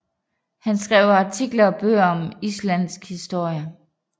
Han skrev artikler og bøger om Islandsk historie